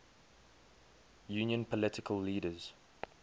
union political leaders